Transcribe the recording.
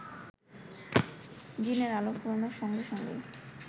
দিনের আলো ফুরানোর সঙ্গে সঙ্গেই